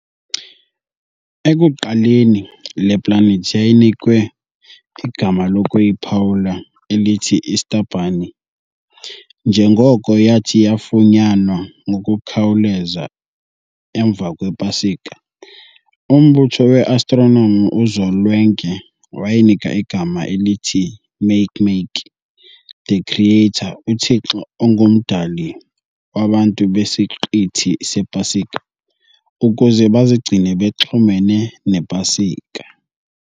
Ekuqaleni le-planet yayinikwe igama lokuyiphawula elithi 'Easterbunny' njengoko yathi yafunyanwa ngokukhawuleza emva kwePasika. umbutho weAstronomi kuzolwenke wayinika igama elithi Makemake, the creator uthixo ongumdali wabantu besiqithi sePasika, ukuze bazigcine bexhumene nePasika.